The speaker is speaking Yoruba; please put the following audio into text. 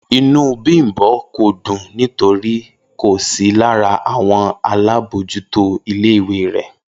Inú Bímbò kò dùn nítorí kò sí lára àwon alábójútó ilé ìwé re